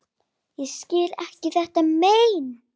Ég skil ekki þetta mein.